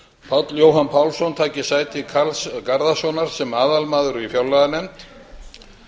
páll jóhann pálsson taki sæti karls garðarssonar sem aðalmaður í fjárlaganefnd